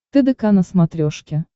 тдк на смотрешке